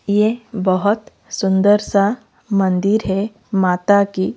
ये बहोत सुंदर सा मंदिर है माता की--